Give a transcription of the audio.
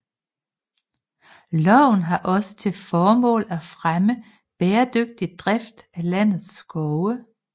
Loven har også til formål at fremme bæredygtig drift af landets skove